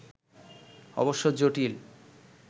অবশ্য জটিল